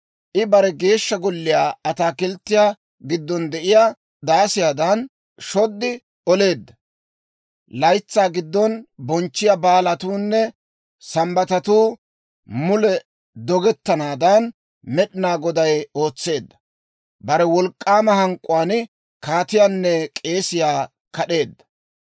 I bare Geeshsha Golliyaa ataakilttiyaa giddon de'iyaa daasiyaadan, shod oleedda. Laytsaa giddon bonchchiyaa baalatuunne Sambbatatuu mule dogettanaadan, Med'inaa Goday ootseedda. Bare wolk'k'aama hank'k'uwaan kaatiyaanne k'eesiyaa kad'eedda.